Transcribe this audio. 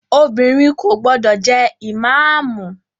Obìnrin kò gbọdọ̀ jẹ ìmáàmù!